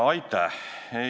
Aitäh!